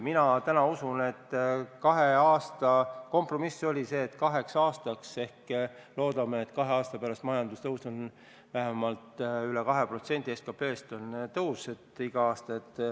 Mina täna usun kahe aasta kompromissi ja loodame, et kahe aasta pärast on majanduskasv vähemalt üle 2% SKP-st.